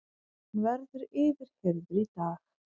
Hann verður yfirheyrður í dag